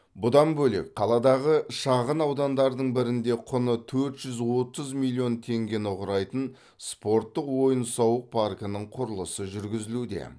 бұдан бөлек қаладағы шағын аудандардың бірінде құны төрт жүз отыз миллион теңгені құрайтын спорттық ойын сауық паркінің құрылысы жүргізілуде